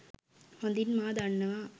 හොඳින් මා දන්නවා.